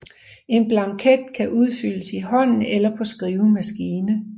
En blanket kan udfyldes i hånden eller på skrivemaskine